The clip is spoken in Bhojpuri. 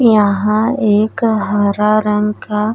यहाँ एक हरा रंग का --